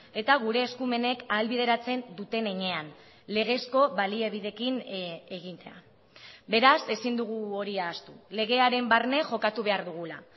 eta gure eskumenek ahalbideratzen duten heinean legezko baliabideekin egitea beraz ezin dugu hori ahaztu legearen barne jokatu behar dugula